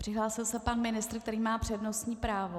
Přihlásil se pan ministr, který má přednostní právo.